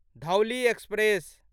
Dhauli express